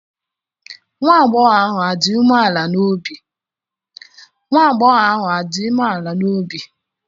nwa agbọghọ ahụ dị umeala n'obi?